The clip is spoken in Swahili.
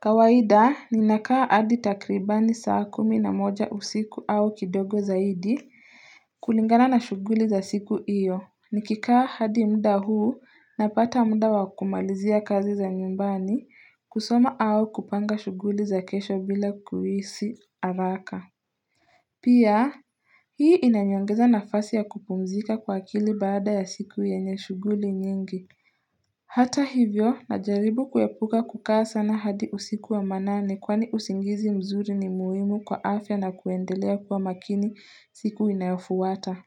Kawaida ninakaa hadi takribani saa kumi na moja usiku au kidogo zaidi kulingana na shughuli za siku hiyo. Nikikaa hadi muda huu napata muda wa kumalizia kazi za nyumbani, kusoma au kupanga shughuli za kesho bila kuhisi haraka Pia hii inaniongeza nafasi ya kupumzika kwa akili baada ya siku yenye shughuli nyingi Hata hivyo na jaribu kuepuka kukaa sana hadi usiku wa manane kwani usingizi mzuri ni muhimu kwa afya na kuendelea kuwa makini siku inayofuata.